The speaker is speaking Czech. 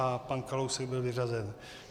A pan Kalousek byl vyřazen.